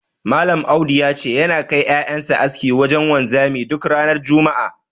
Malam Audu ya ce, yana kai ƴaƴan sa aski wajen wanzami duk ranar juma'a.